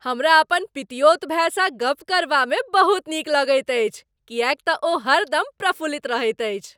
हमरा अपन पितियौत भाईसँ गप करबामे बहुत नीक लगैत अछि किएक तऽ ओ हरदम प्रफुल्लित रहैत अछि ।